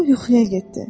O yuxuya getdi.